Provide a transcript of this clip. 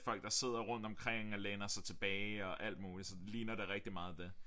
Folk der sidder rundt omkring og læner sig tilbage og alt muligt så ligner det rigtig meget det